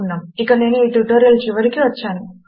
ఇక నేను ఈ ట్యుటోరియల్ చివరికి వచ్చాను